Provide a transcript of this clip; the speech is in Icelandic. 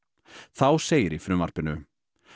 þá segir í frumvarpinu